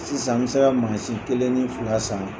Sisan , n bɛ se ka maasi kelen ni fila san!